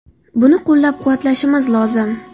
Buni qo‘llab-quvvatlashimiz lozim”.